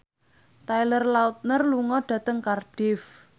Taylor Lautner lunga dhateng Cardiff